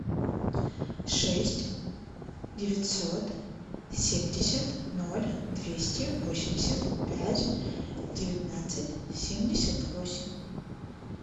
шесть девятьсот семьдесят ноль двести восемьдесят пять девятнадцать семьдесят восемь